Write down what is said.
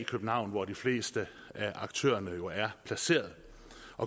københavn hvor de fleste af aktørerne jo er placeret